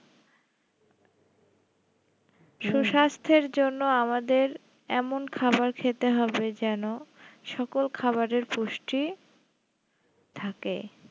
সুস্বাস্থ্যের জন্য আমাদের এমন খাবার খেতে হবে যেন সকল খাবারের পুষ্টি থাকে